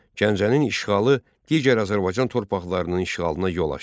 Gəncənin işğalı digər Azərbaycan torpaqlarının işğalına yol açdı.